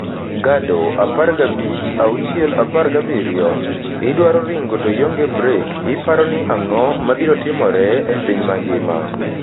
Gado, 15/6/17: "Idwaro ringo to ionge brek - iparo ni ang'o mabiro timore? e piny mangima.